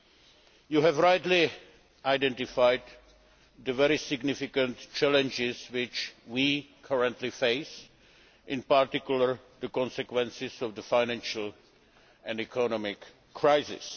They have rightly identified the very significant challenges that we currently face and, in particular, the consequences of the financial and economic crisis.